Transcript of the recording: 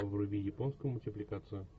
вруби японскую мультипликацию